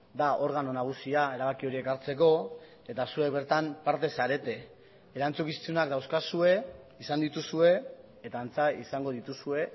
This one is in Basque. da organo nagusia erabaki horiek hartzeko eta zuek bertan parte zarete erantzukizunak dauzkazue izan dituzue eta antza izango dituzue